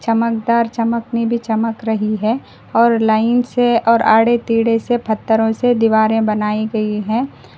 चमकदार चमकने भी चमक रही है और लाइन से और आड़े तेड़े से फत्थरो से दीवारें बनाई गई हैं।